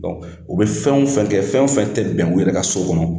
U bɛ fɛn o fɛn kɛ, fɛn o fɛn tɛ bɛn u yɛrɛ ka so kɔnɔ.